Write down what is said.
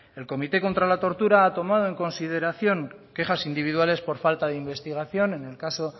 el comité contra la tortura ha tomado en consideración quejas individuales por falta de investigación en el caso